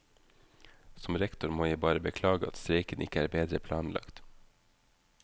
Som rektor må jeg bare beklage at streiken ikke er bedre planlagt.